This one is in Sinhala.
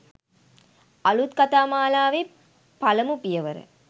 අලුත් කතා මාලාවේ පළමු පියවර